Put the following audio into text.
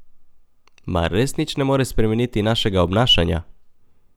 Mar res nič ne more spremeniti našega obnašanja?